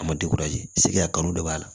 A ma segi a kanu de b'a la